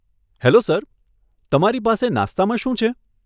Hello sir, તમારી પાસે નાસ્તામાં શું છે?